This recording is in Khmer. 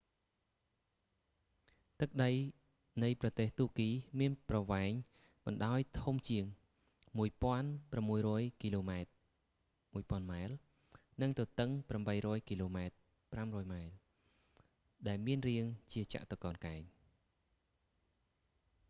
ទឹកដីនៃប្រទេសតួគីមានប្រវែងបណ្តោយធំជាង1,600 គីឡូម៉ែត្រ 1000 ម៉ែល និងទទឹង 800 គីឡូម៉ែត្រ 500ម៉ៃ ដែលមានរាងជាចតុកោណកែង